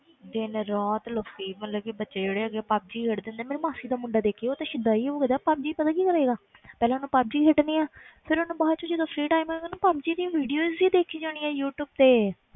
ਦਿਨ ਰਾਤ ਲੱਗੇ ਹੀ ਮਤਲਬ ਕਿ ਬੱਚੇ ਜਿਹੜੇ ਹੈਗੇ ਆ ਪੱਬ ਜੀ ਖੇਡਦੇ ਹੁੰਦੇ ਆ, ਮੇਰੇ ਮਾਸੀ ਦਾ ਮੁੰਡਾ ਦੇਖੀ ਉਹ ਤੇ ਸਦਾਈ ਹੋ ਗਿਆ ਪੱਬਜੀ 'ਚ ਪਤਾ ਕੀ ਕਰੇਗਾ ਪਹਿਲਾਂ ਉਹਨੇ ਪੱਬ ਜੀ ਖੇਡਣੀ ਹੈ ਫਿਰ ਉਹਨੇ ਬਾਅਦ 'ਚ ਜਦੋਂ free time ਹੋਏਗਾ ਨਾ ਉਹਨੇ ਪੱਬਜੀ ਦੀ videos ਹੀ ਦੇਖੀ ਜਾਣੀ ਹੈ ਯੂ ਟਿਊਬ ਤੇ